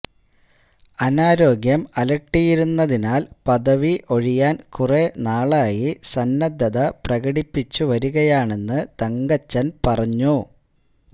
അനാരോഗ്യം അലട്ടിയിരുന്നതിനാൽ പദവി ഒഴിയാൻ കുറെ നാളായി സന്നദ്ധത പ്രകടിപ്പിച്ചുവരികയാണെന്നു തങ്കച്ചൻ പറഞ്ഞു